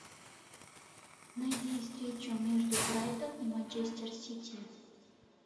найди встречу между брайтон и манчестер сити